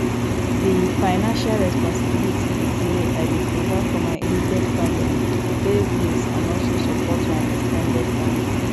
di financial responsibilities be say i dey provide for my immediate family pay bills and also support my ex ten ded family